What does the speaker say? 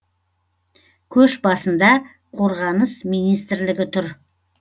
көш басында қорғаныс министрлігі тұр